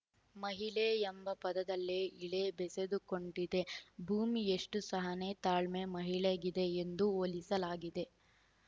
ಮಹಿಳೆ ಎಂಬ ಪದದಲ್ಲೆ ಇಳೆ ಬೆಸೆದುಕೊಂಡಿದೆ ಭೂಮಿಯಷ್ಟುಸಹನೆ ತಾಳ್ಮೆ ಮಹಿಳೆಗಿದೆ ಎಂದು ಹೋಲಿಸಲಾಗಿದೆ